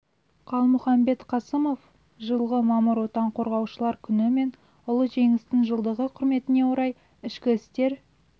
қалмұхамбет қасымов жылғы мамыр отан қорғаушылар күні мен ұлы жеңістің жылдығы құрметіне орай ішкі істер